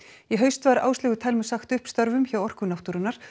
í haust var Áslaugu Thelmu sagt upp störfum hjá Orku náttúrunnar